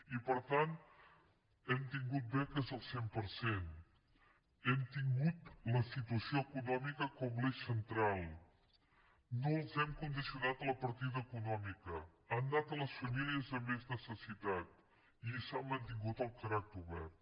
i per tant hem tingut beques al cent per cent hem tingut la situació econòmica com l’eix central no les hem condicionat a la partida econòmica han anat a les famílies amb més necessitat i s’hi ha mantingut el caràcter obert